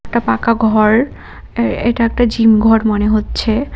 একটা পাকা ঘর এ এইটা একটা জিম ঘর মনে হচ্ছে।